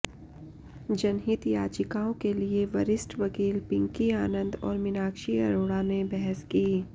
जनहित याचिकाओं के लिए वरिष्ठ वकील पिंकी आनंद और मीनाक्षी अरोड़ा ने बहस की